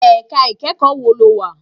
Èká ikèékò wó ló wá?